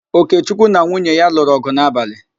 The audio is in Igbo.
Okechukwu na nwunye ya lụrụ ọ̀gụ̀ n'abalị.